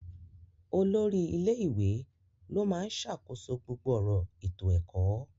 Olórí ilé ìwé ló máa ń ṣàkóso gbogbo ọ̀rọ̀ ètò ẹ̀kọ́.